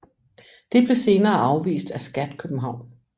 Det blev senere afvist af Skat København